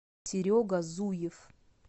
серега зуев